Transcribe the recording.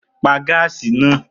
Pa gáàsì náà!